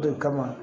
O de kama